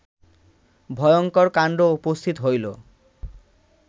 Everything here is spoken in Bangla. ভয়ঙ্কর কাণ্ড উপস্থিত হইল